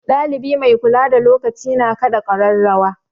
Ɗalibi mai kula da lokaci na kaɗa ƙararrawa.